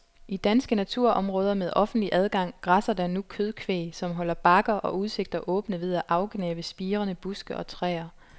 I danske naturområder med offentlig adgang græsser der nu kødkvæg, som holder bakker og udsigter åbne ved at afgnave spirende buske og træer.